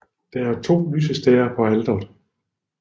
Der er to lysestager på alteret